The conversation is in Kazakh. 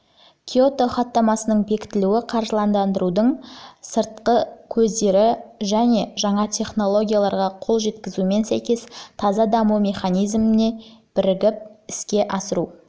киото хаттамасының бекітілуі қаржыландырудың сыртқы көздері мен жаңа технологияларға қол жеткізумен сәйкес таза даму механизмі мен бірігіп іске асыру